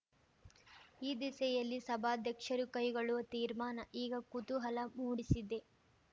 ಈ ದಿಸೆಯಲ್ಲಿ ಸಭಾಧ್ಯಕ್ಷರು ಕೈಗೊಳ್ಳುವ ತೀರ್ಮಾನ ಈಗ ಕುತೂಹಲ ಮೂಡಿಸಿದೆ